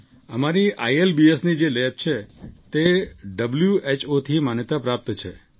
અમારી આઈએલબીએસની જે લેબ છે તે હૂ WHOથી માન્યતા પ્રાપ્ત છે